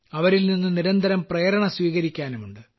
അവരിൽനിന്നു നിരന്തരം പ്രേരണ സ്വീകരിക്കാനുമുണ്ട്